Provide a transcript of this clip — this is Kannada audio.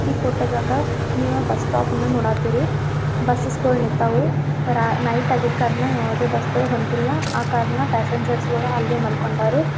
ಈ ಫೋಟೋದಾಗ ನೀವ ಬಸ್ ಸ್ಟಾಪ್ ನ ನೋಡಾತಿರಿ ಬುಸಸ್ ಗುಳ್ ನಿಂತಾವು ರ ನೈಟ್ ಆಗಿದ್ ಕಾರ್ಣ ಯಾವ್ದೆ ಬಸ್ ಗುಳು ಹೊಂಟಿಲ್ಲಾ ಆ ಕಾರ್ಣ ಪ್ಯಾಸೆಂಜ್ರ್ಸ್ ಗಳು ಅಲ್ಲೇ ಮಾಲ್ಕಂಡಾರು.